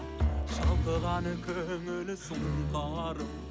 шалқыған көңіл сұнқарым